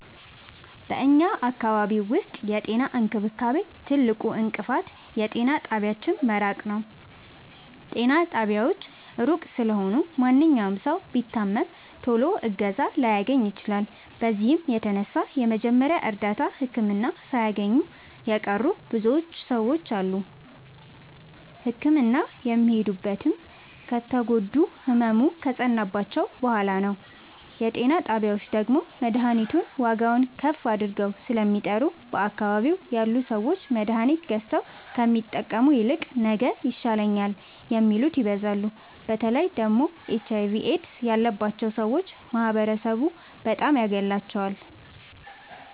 በኛ አካባቢ ዉስጥ የጤና እንክብካቤ ትልቁ እንቅፋት የጤና ጣቢያዎች መራቅ ነዉ። ጤና ጣቢያዎች እሩቅ ስለሆኑ ማንኛዉም ሠዉ ቢታመም ቶሎ እገዛ ላያገኝ ይችላል። በዚህም የተነሣ የመጀመሪያ እርዳታ ህክምና ሣያገኙ የቀሩ ብዙ ሰዎች አሉ። ህክምና የሚሄዱትም ከተጎዱና ህመሙ ከፀናባቸዉ በሗላ ነዉ። የጤና ጣቢያዎች ደግሞ መድሀኒቱን ዋጋዉን ከፍ አድርገዉ ስለሚጠሩ በአካባቢዉ ያሉ ሠዎች መድሀኒት ገዝተዉ ከሚጠቀሙ ይልቅ ነገ ይሻለኛል የሚሉት ይበዛሉ። በተለይ ደግሞ ኤች አይቪ ኤድስ ያባቸዉ ሠዎች ማህበረሡ በጣም ያገላቸዋል።